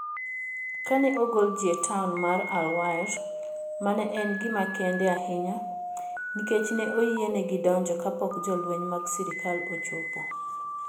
Ka ne ogol ji e taon mar Al-Waer, mano ne en gima kende ahinya nikech ne oyienegi donjo kapok jolweny mag sirkal ochopo.